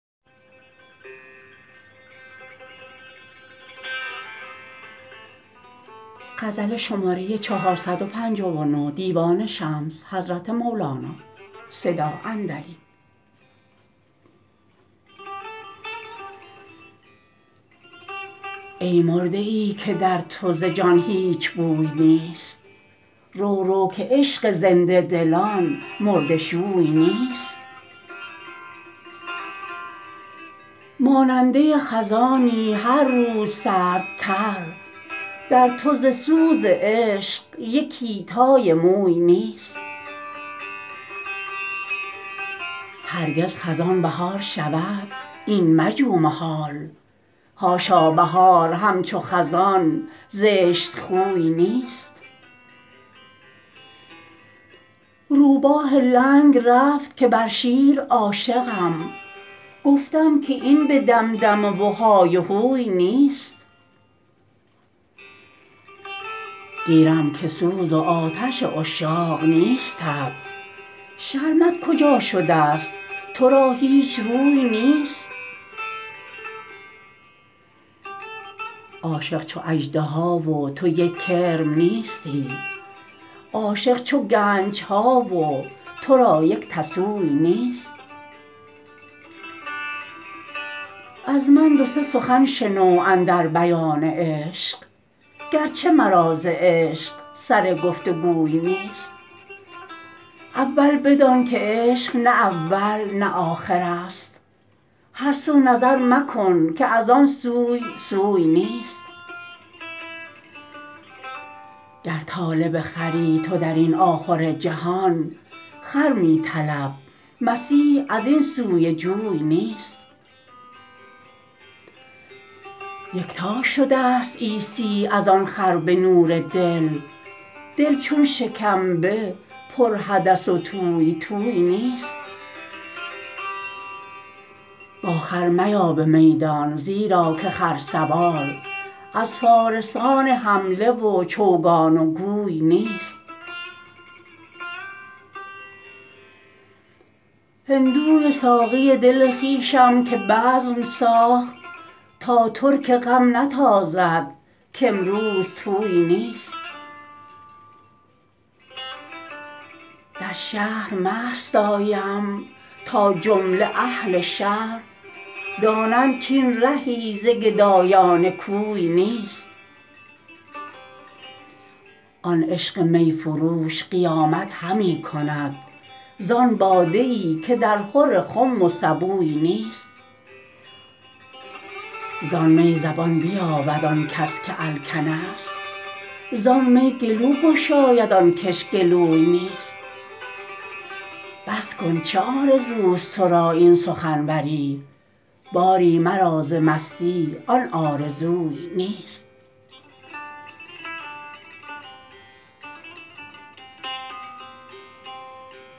ای مرده ای که در تو ز جان هیچ بوی نیست رو رو که عشق زنده دلان مرده شوی نیست ماننده خزانی هر روز سردتر در تو ز سوز عشق یکی تای موی نیست هرگز خزان بهار شود این مجو محال حاشا بهار همچو خزان زشتخوی نیست روباه لنگ رفت که بر شیر عاشقم گفتم که این به دمدمه و های هوی نیست گیرم که سوز و آتش عشاق نیستت شرمت کجا شدست تو را هیچ روی نیست عاشق چو اژدها و تو یک کرم نیستی عاشق چو گنج ها و تو را یک تسوی نیست از من دو سه سخن شنو اندر بیان عشق گرچه مرا ز عشق سر گفت و گوی نیست اول بدان که عشق نه اول نه آخرست هر سو نظر مکن که از آن سوی سوی نیست گر طالب خری تو در این آخرجهان خر می طلب مسیح از این سوی جوی نیست یکتا شدست عیسی از آن خر به نور دل دل چون شکمبه پرحدث و توی توی نیست با خر میا به میدان زیرا که خرسوار از فارسان حمله و چوگان و گوی نیست هندوی ساقی دل خویشم که بزم ساخت تا ترک غم نتازد کامروز طوی نیست در شهر مست آیم تا جمله اهل شهر دانند کاین زهی ز گدایان کوی نیست آن عشق می فروش قیامت همی کند زان باده ای که درخور خم و سبوی نیست زان می زبان بیابد آن کس که الکنست زان می گلو گشاید آن کش گلوی نیست بس کن چه آرزوست تو را این سخنوری باری مرا ز مستی آن آرزوی نیست